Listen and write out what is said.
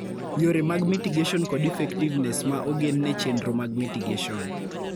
Yore mag mitigation kod effectiveness ma ogen ne chendro mag mitigation.